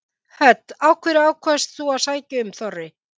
Hödd: Af hverju ákvaðst þú að sækja um Þorri?